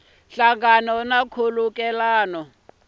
na nhlangano na nkhulukelano wa